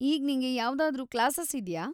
ಈಗ್ ನಿಂಗೆ ಯಾವ್ದಾದ್ರೂ ಕ್ಲಾಸಸ್‌ ಇದ್ಯಾ?